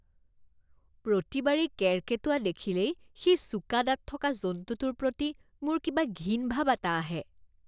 প্ৰতিবাৰেই কেৰ্কেটুৱা দেখিলেই সেই চোকা দাঁত থকা জন্তুটোৰ প্ৰতি মোৰ কিবা ঘিণ ভাৱ এটা আহে।